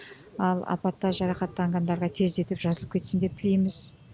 ал апатта жарақаттанғандарға тездетіп жазылып кетсін деп тілейміз